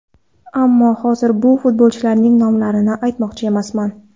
Ammo hozir bu futbolchilarning nomlarini aytmoqchi emasman.